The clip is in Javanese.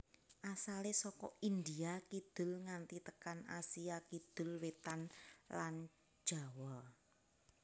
Asalé saka India kidul nganti tekan Asia Kidul wétan lan Jawa